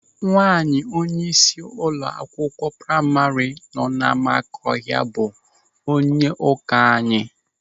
Nwaanyị onyeisi ụlọ akwụkwọ praima nọ n'Amakọhia bụ onyeụka anyị.